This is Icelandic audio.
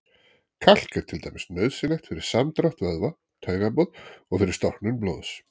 Kalk er til dæmis nauðsynlegt fyrir samdrátt vöðva, taugaboð og fyrir storknun blóðs.